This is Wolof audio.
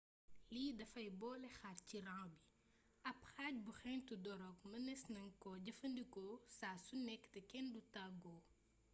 lii dafay boole xaar ci rang bi ab xaj by xentu dorog mëneees nan ko jëfandikoo saa su nekk te kenn du tàggoo